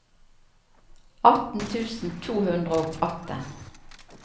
atten tusen to hundre og atten